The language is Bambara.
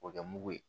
O kɛ mugu ye